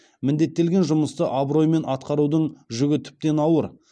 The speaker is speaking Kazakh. міндеттелген жұмысты абыроймен атқарудың жүгі тіптен ауыр